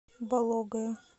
бологое